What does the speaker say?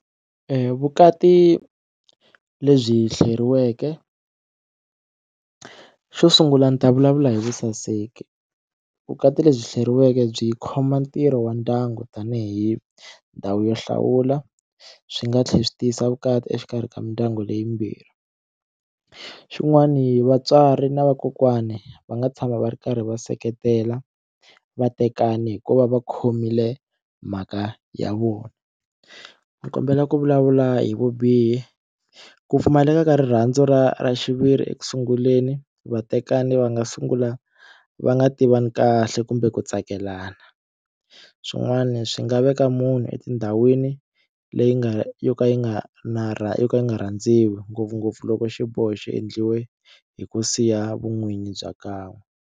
Vukati lebyi hleriweke xo sungula ni ta vulavula hi vusaseki vukati lebyi hleriweke byi khoma ntirho wa ndyangu tanihi ndhawu yo hlawula swi nga tlhela swi tiyisa vukati exikarhi ka mindyangu leyi mbirhi xin'wani vatswari na vakokwani va nga tshama va ri karhi va seketela vatekani hi ku va va khomile mhaka ya vona ni kombela ku vulavula hi vubihi ku pfumaleka ka rirhandzu ra ra xiviri eku sunguleni vatekani va nga sungula va nga tivani kahle kumbe ku tsakelana swin'wani swi nga veka munhu etindhawini leyi nga yo ka yi nga na ra yo ka yi nga rhandziwa ngopfungopfu loko xiboho xi endliwe hi ku siya vun'winyi bya .